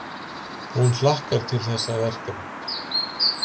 Hún hlakkar til þessara verkefna.